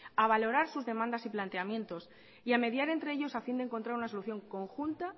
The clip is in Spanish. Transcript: a valorar sus demandas y planteamientos y a mediar entre ellos a fin de encontrar una solución conjunta